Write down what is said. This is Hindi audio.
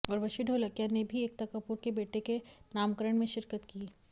उर्वशी ढोलकिया ने भी एकता कपूर के बेटे के नामकरण में शिरकत की